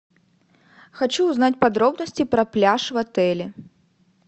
хочу узнать подробности про пляж в отеле